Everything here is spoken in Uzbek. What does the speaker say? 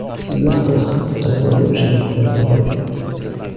Sizda hali ham talaba bo‘lish imkoniyati mavjud!